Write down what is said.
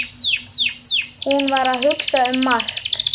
Hún var að hugsa um Mark.